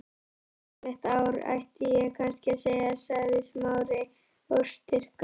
Gleðilegt ár, ætti ég kannski að segja- sagði Smári óstyrkur.